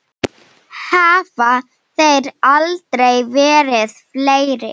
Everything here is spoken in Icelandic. Hafa þeir aldrei verið fleiri.